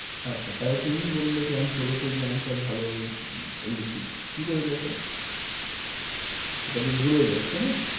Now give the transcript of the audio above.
আচ্ছা তাহলে তুমিই বললে কি আমি ষোল page এ answer ভালো লিখি। কী করে লেখ? এটা তো ভুল হয়ে যাচ্ছে না?